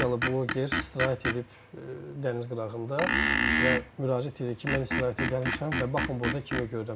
Rusiyalı bloger istirahət edib dəniz qırağında və müraciət edir ki, mən istirahətə gəlmişəm və baxın burda kimi görürəm.